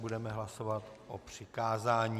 Budeme hlasovat o přikázání.